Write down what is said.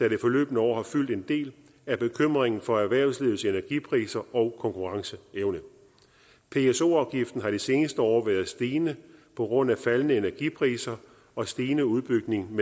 i det forløbne år har fyldt en del er bekymringen for erhvervslivets energipriser og konkurrenceevne pso afgiften har de seneste år været stigende på grund af faldende energipriser og stigende udbygning